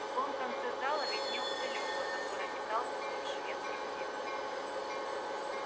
в другом конце зала виднелся лева который метался вдоль шведской стенки